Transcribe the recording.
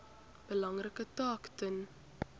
belangrike taak ten